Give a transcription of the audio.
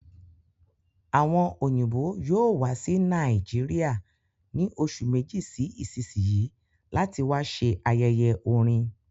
Àwọn òyìnbó yóò wá sí Nàìjíríà ní oṣù Méjì sí isisiyi láti wá ṣẹ ayẹyẹ orin